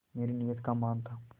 मेरी नीयत का मान था